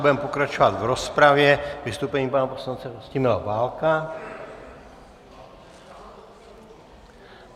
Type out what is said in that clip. Budeme pokračovat v rozpravě vystoupením pana poslance Vlastimila Válka.